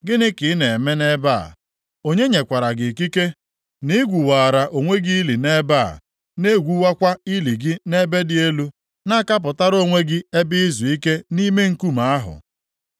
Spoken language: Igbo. Gịnị ka ị na-eme nʼebe a, onye nyekwara gị ikike na i gwuwaara onwe gị ili nʼebe a, na-egwuwakwa ili gị nʼebe dị elu na-akapụtara onwe gị ebe izuike nʼime nkume ahụ?